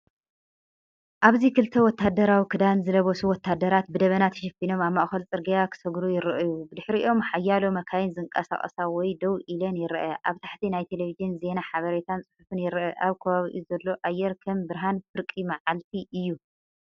ኣብዚ ክልተ ወተሃደራዊ ክዳን ዝለበሱ ወተሃደራት ብደበና ተሸፊኖም ኣብ ማእከል ጽርግያ ክሰግሩ ይረኣዩ። ብድሕሪኦም ሓያሎ መካይን ዝንቀሳቐሳ ወይ ደው ኢለን ይረኣያ። ኣብ ታሕቲ፡ናይ ቴሌቪዥን ዜና ሓበሬታን ጽሑፍን ይርአ። ኣብ ከባቢኡ ዘሎ ኣየር ከም ብርሃን ፍርቂ መዓልቲ እዩ።